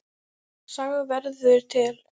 Saga verður til